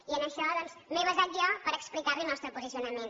i en això doncs m’he basat jo per explicar li el nostre posicionament